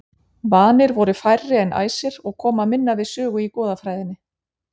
Vanir voru færri en æsir og koma minna við sögu í goðafræðinni.